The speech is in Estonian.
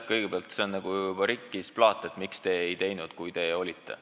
Kõigepealt, see on juba nagu rikkis plaat: et miks te ei teinud, kui te olite ...